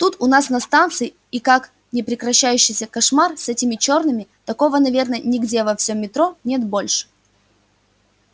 тут у нас на станции и как непрекращающийся кошмар с этими чёрными такого наверное нигде во всем метро нет больше